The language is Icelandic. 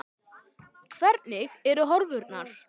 Hvernig eru horfurnar?